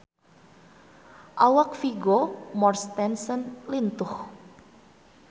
Awak Vigo Mortensen lintuh